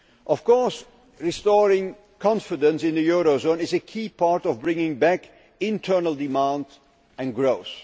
Of course, restoring confidence in the eurozone is a key part of bringing back internal demand and growth.